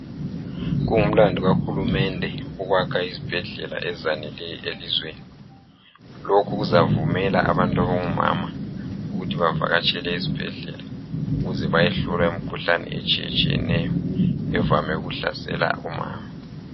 Kungumlando kahulumende ukuyakha izibhedlela ezifaneleyo elizweni. Lokhu kuzavumela omama ukuthi bavakatshele ezibhedlela ukuze bayehlolwa imkhuhlane etshiyatshiyeneyo evame ukuhlasela omama.